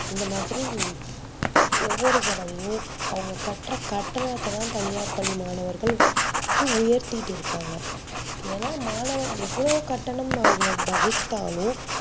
இந்த மாதிரி ஒவ்வொரு தடவையும் அவங்க கட்ற கட்டனத்த தா தனியார் பள்ளி மாணவர்கள் உயர்திட்டு இருகாங்க ஏனா மாணவர் எவ்ளோ கட்டணம் அவங்களுக்கு